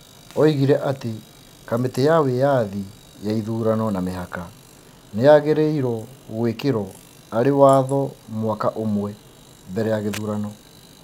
Oigire atĩ kamĩtĩ ya wĩyathi ya ithurano na mĩhaka nĩ yagĩrĩirwo gũĩkerwo arĩ watwo mwaka ũmwe mbere ya gĩthurano.